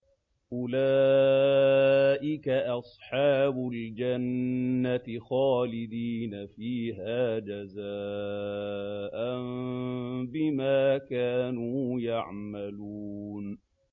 أُولَٰئِكَ أَصْحَابُ الْجَنَّةِ خَالِدِينَ فِيهَا جَزَاءً بِمَا كَانُوا يَعْمَلُونَ